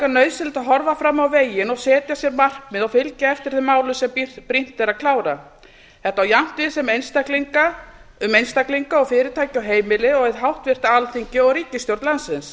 nauðsynlegt að horfa fram á veginn og setja sér markmið og fylgja eftir þeim málum sem brýnt er að klára þetta á jafnt við um einstaklinga og fyrirtæki og heimili og hið háttvirta alþingi og ríkisstjórn landsins